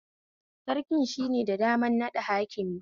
Sarkin shike da damar naɗa hakimi